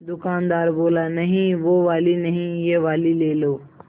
दुकानदार बोला नहीं वो वाली नहीं ये वाली ले लो